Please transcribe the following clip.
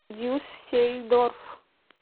дюссельдорф